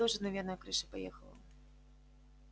тоже наверное крыша поехала